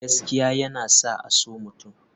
Gaskiya yana sa a so mutum.